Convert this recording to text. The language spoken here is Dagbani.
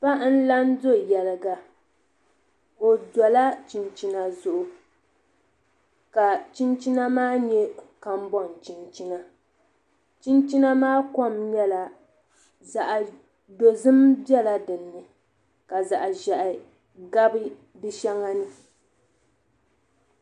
Paɣa n la n do yɛliga o dola chinchina zuɣu ka chinchina maa nyɛ kambon chinchina chinchina maa kom nyɛla zaɣ dozim biɛla dinni ka zaɣ ʒiɛhi gabi di shɛŋa ni